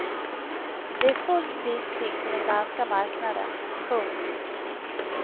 Det är fullt priskrig på den danska marknaden. punkt